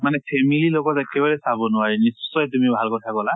মানে family ৰ লগত একেলগে চাব নোৱাৰি। নিশ্চয় তুমি ভাল কথা কলা।